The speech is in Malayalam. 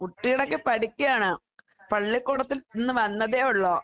കുട്ടികളൊക്കെ പഠിക്ക്യാണ്. പള്ളിക്കൂടത്തിൽ നിന്ന് വന്നതേയൊള്ളൂ.